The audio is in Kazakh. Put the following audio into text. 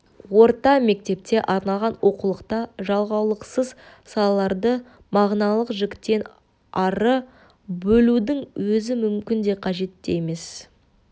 орта мектепке арналған оқулықта жалғаулықсыз салаларды мағыналық жіктен ары бөлудің өзі мүмкін де қажет те емес